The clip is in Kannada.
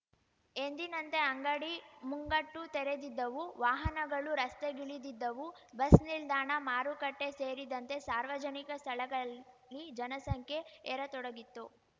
ಎಂದಿನಂತೆ ಅಂಗಡಿ ಮುಂಗಟ್ಟು ತೆರೆದಿದ್ದವು ವಾಹನಗಳು ರಸ್ತೆಗಿಳಿದಿದ್ದವು ಬಸ್‌ನಿಲ್ದಾಣ ಮಾರುಕಟ್ಟೆಸೇರಿದಂತೆ ಸಾರ್ವಜನಿಕ ಸ್ಥಳಗಳಲ್ಲಿ ಜನಸಂಖ್ಯೆ ಏರತೊಡಗಿತ್ತು